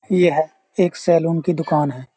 यह एक सैलून की दुकान है।